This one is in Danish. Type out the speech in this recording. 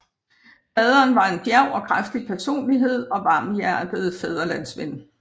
Faderen var en djærv og kraftig personlighed og varmhjertet fædrelandsven